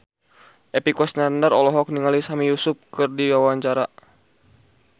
Epy Kusnandar olohok ningali Sami Yusuf keur diwawancara